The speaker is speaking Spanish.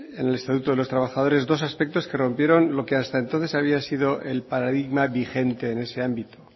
en el estatuto de los trabajadores dos aspectos que rompieron lo que hasta entonces había sido el paradigma vigente en ese ámbito